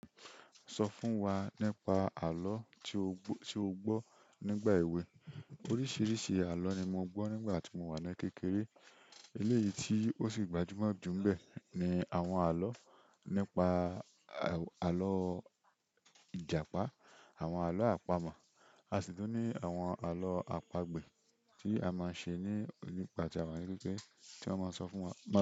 Sọ fún wa nípa àlọ́ tí o gbọ́ nígbà èwe. Oríṣìíríṣìí àlọ́ ni mo gbọ́ nígbà tí mo wà ní kékeré. Eléyìí tí ó sì gbajúmọ̀ jù ń bẹ ní àwọn àlọ́ nípa àlọ́ Ìjàpá, àwọn àlọ́ àpamọ̀, a sì tún ní àwọn àlọ́ àpagbè tí a mpáa ń ṣe ní ìpàdé àwọn arákùnrin tí wọ́n máa ń sọ fún wa.